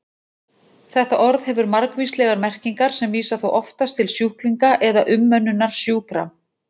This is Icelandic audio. Þetta orð hefur margvíslegar merkingar sem vísa þó oftast til sjúklinga eða umönnunar sjúkra.